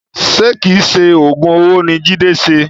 Ṣe kìí ṣe oògùn owó ni Jide ṣe?